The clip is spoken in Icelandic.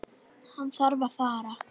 Hann þarf að fara.